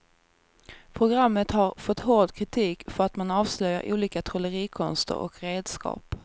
Programmet har fått hård kritik för att man avslöjar olika trollerikonster och redskap.